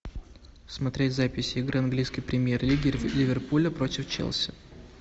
смотреть запись игры английской премьер лиги ливерпуля против челси